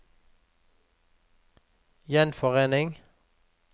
gjenforening